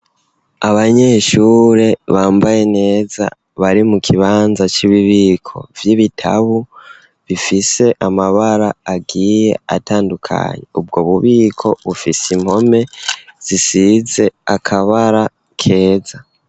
Abanyeshure bambaye neza bari mu kibanza cububiko vy'ibitabu bifise amabara agiye atandukanye ubwo bubiko bufise impome zisize akabara keza.